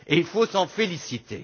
Il faut s'en féliciter.